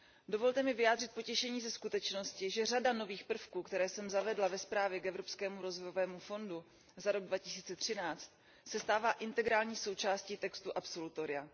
Dovolte mi vyjádřit potěšení ze skutečnosti, že řada nových prvků, které jsem zavedla ve zprávě o Evropském rozvojovém fondu za rok 2013, se stává integrální součástí textu absolutoria.